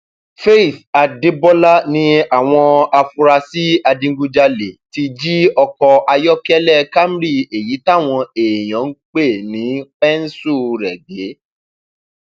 faith adébólà ni àwọn afurasí adigunjalè ti jí ọkọ ayọkẹlẹ camry èyí táwọn èèyàn ń pè ní pẹńsù gbé